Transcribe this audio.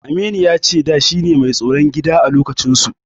Aminu ya ce shine da mai tsaron gida a lokacinsu.